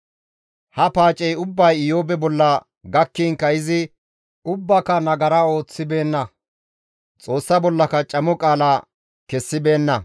Ha paacey ubbay Iyoobe bolla gakkinkka izi ubbaaka nagara ooththibeenna; Xoossa bollaka camo qaala kessibeenna.